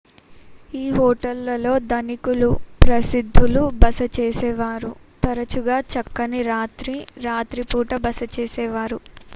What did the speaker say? ఈ హోటళ్ళలో ధనికులు ప్రసిద్ధులు బస చేసేవారు తరచుగా చక్కని రాత్రి రాత్రి పూట బస చేసేవారు